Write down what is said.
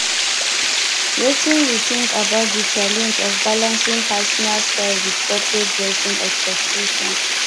wetin you think about di challenge of balancing personal style with corporate dressing expectations